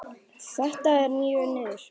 Þetta er mjög miður.